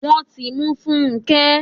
Wọ́n ti mú Funke